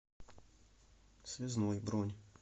связной бронь